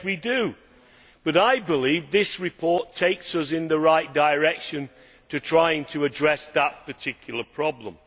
Yes we do, but I believe this report takes us in the right direction in trying to address that particular problem.